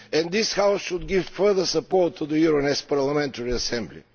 This House should give further support to the Euronest Parliamentary Assembly.